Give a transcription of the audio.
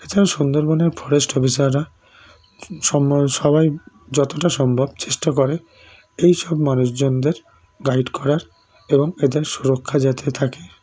এছাড়াও সুন্দরবনের forest officer রা স্মর সবাই যতটা সম্ভব চেষ্টা করে এই সব মানুষ জনদের guide করার এবং এদের শূরক্ষা জাতে থাকে